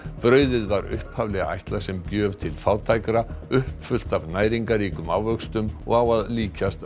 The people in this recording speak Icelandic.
brauðið var upphaflega ætlað sem gjöf til fátækra uppfullt af næringarríkum ávöxtum og á að líkjast